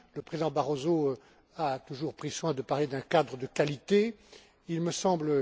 Le président Barroso a toujours pris soin de parler d'un cadre de qualité, il me semble.